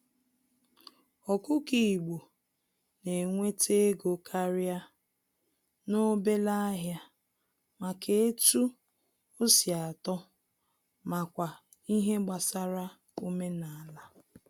Ọkụkọ igbo na-enwete ego karịa n'obele ahịa maka etu osi atọ makwa ihe gbasara omenala.